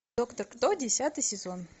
доктор кто десятый сезон